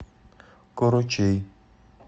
корочей